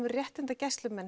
réttindagæslumenn